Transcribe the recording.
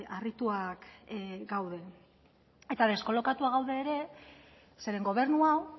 harrituak gaude eta deskolokatuak gaude ere zeren gobernu hau